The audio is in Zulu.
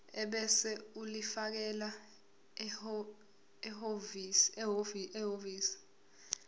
ebese ulifakela ehhovisi